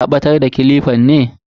Ka batar da kilifan ne?